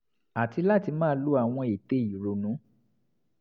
àti láti máa lo àwọn ète ìrònú